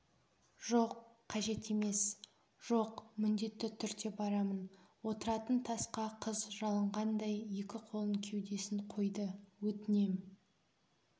жоқ қажет емес жоқ міндетті түрде барамын отыратын тасқа қыз жалынғандай екі қолын кеудесін қойды өтінем